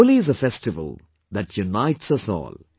Holi is a festival that unites us all